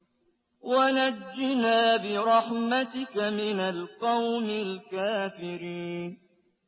وَنَجِّنَا بِرَحْمَتِكَ مِنَ الْقَوْمِ الْكَافِرِينَ